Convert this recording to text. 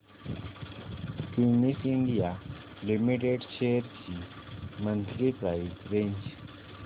Cummins India limited shares ची monthly price range